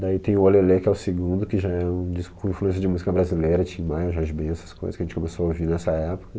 Daí tem o O Lê Lê, que é o segundo, que já é um disco com influência de música brasileira, Tim Maia, Jorge Ben, essas coisas que a gente começou a ouvir nessa época.